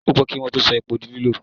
Ó pẹ́ kí Wọ́n tó sọ epo di lílò.